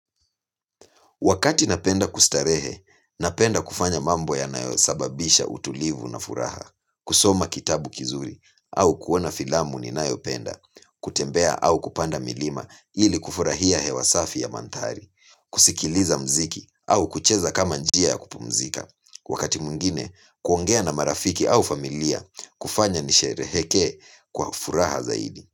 Wakati napenda kustarehe, napenda kufanya mambo yanayo sababisha utulivu na furaha, kusoma kitabu kizuri au kuona filamu ninayopenda, kutembea au kupanda milima ili kufurahia hewa safi ya mandhari, kusikiliza muziki au kucheza kama njia ya kupumzika. Wakati mwingine, kuongea na marafiki au familia kufanya nisherehekee kwa furaha zaidi.